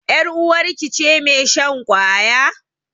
Yar uwarki ce mai shan ƙwaya?